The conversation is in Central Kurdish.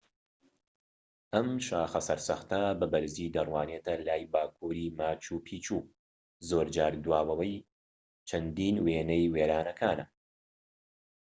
ئەم شاخە سەرسەختە بە بەرزی دەروانێتە لای باکووری ماچو پیچو زۆرجار دواوەی چەندین وێنەی وێرانەکانە